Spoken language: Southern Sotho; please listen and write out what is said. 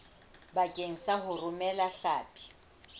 bakeng sa ho romela hlapi